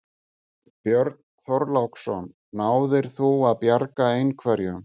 Björn Þorláksson: Náðir þú að bjarga einhverju?